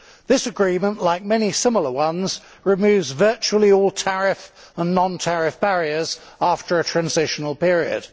This agreement, like many similar ones, removes virtually all tariff and non tariff barriers after a transitional period.